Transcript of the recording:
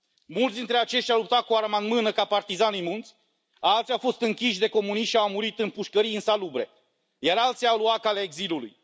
Mulți dintre aceștia au luptat cu arma în mână ca partizani în munți, alții au fost închiși de comuniști și au murit în pușcării insalubre, iar alții au luat calea exilului.